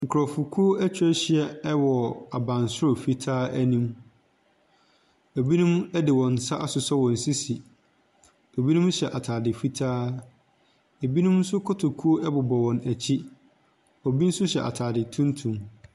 Nkorɔfokuo atwa ahyia ɛwɔ abansoro fitaa anim, ɛbinom ɛde wɔn nsa asosɔ wɔn sisi, ɛbinom hyɛ ataade fitaa, ɛbinom nso kotokuo ɛbobɔ wɔn akyi, obi nso hyɛ ataade tuntum.